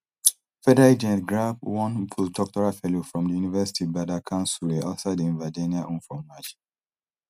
federal agents grab one postdoctoral fellow from di university badar khan suri outside im virginia home for march